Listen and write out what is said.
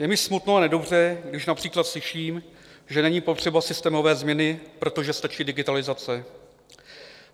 Je mi smutno a nedobře, když například slyším, že není potřeba systémové změny, protože stačí digitalizace.